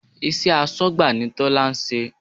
Iṣẹ́ asọ́gbà ni Tola ń ṣe